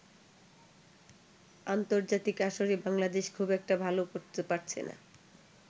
আন্তর্জাতিক আসরে বাংলাদেশ খুব একটা ভালো করতে পারছেনা।